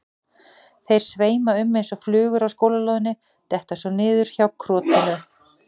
Þeir sveima um eins og flugur á skólalóðinni, detta svo niður hjá krotinu.